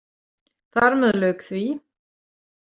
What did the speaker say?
Þar með lauk því.